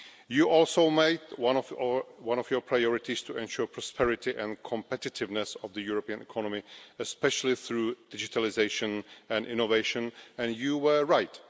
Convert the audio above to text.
You also made it one of your priorities to ensure the prosperity and competitiveness of the European economy, especially through digitalisation and innovation, and you were right.